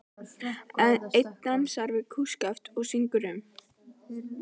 Einn dansar við kústskaft og syngur um